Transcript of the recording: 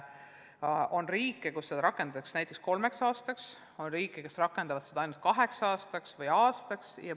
On riike, kus seda tuge rakendatakse näiteks kolm aastat, on riike, kes rakendavad seda ainult kaks aastat või aasta.